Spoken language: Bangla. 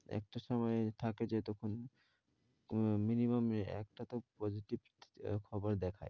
একটা সময় থাকে যতক্ষণ minimum একটা তো positive খবর দেখায়।